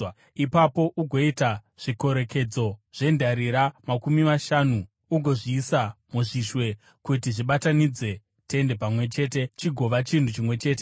Ipapo ugoita zvikorekedzo zvendarira makumi mashanu ugozviisa muzvishwe kuti zvibatanidze tende pamwe chete chigova chinhu chimwe chete.